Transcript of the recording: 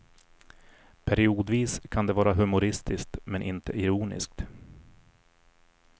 Periodvis kan det vara humoristiskt men inte ironiskt.